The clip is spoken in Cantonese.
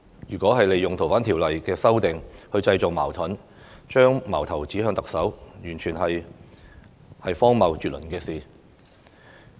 如果利用《逃犯條例》的修訂去製造矛盾，將矛頭指向特首，完全是荒謬絕倫的事。